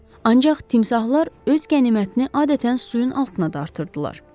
Ancaq timsahlar öz qənimətini adətən suyun altına dartırdılar.